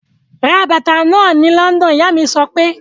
Ra bàtà náà ni London! Ìyá mí sọ pé.